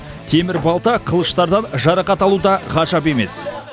темір балта қылыштардан жарақат алу да ғажап емес